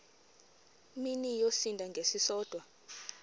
mini yosinda ngesisodwa